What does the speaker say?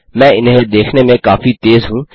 मैं इन्हें देखने में काफी तेज़ हूँ